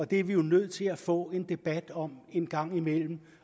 det er vi jo nødt til at få en debat om en gang imellem